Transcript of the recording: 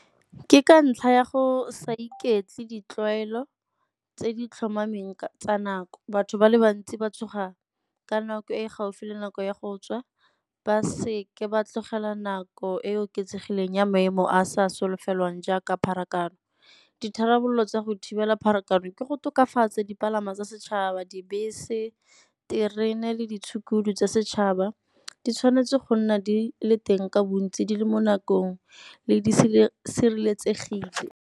Ke ka ntlha ya go sa di ketse ditlwaelo tse di tlhomameng tsa na. Batho ba le bantsi ba tshoga ka nako e gaufi le nako ya go tswa ba seke ba tlogela nako e e oketsegileng ya maemo a sa solofelwang jaaka pharakano. Ditharabololo tsa go thibela pharakano ke go tokafatsa dipalangwa tsa setšhaba, dibese, terene le ditshukudu tsa setšhaba di tshwanetse go nna di le teng ka bontsi di le mo nakong di sireletsegile.